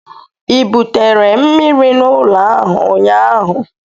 ị butere mmiri n'ụlọ ahụ ụnyaahụ?